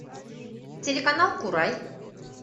телеканал курай